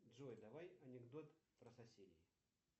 джой давай анекдот про соседей